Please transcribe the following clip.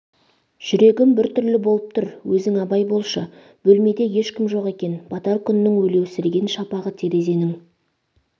жүрегім біртүрлі болып тұр өзің абай болшы бөлмеде ешкім жоқ екен батар күннің өлеусіреген шапағы терезенің